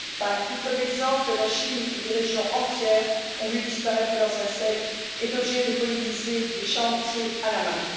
À titre d'exemple, la Chine, où des régions entières ont vu disparaître leurs insectes, est obligée de polliniser des champs entiers à la main.